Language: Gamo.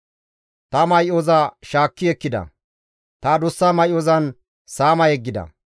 Ta may7oza gishetti ekkida; ta adussa may7ozan saama yeggida.